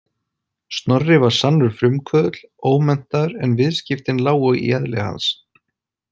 Snorri var sannur frumkvöðull, ómenntaður en viðskiptin lágu í eðli hans.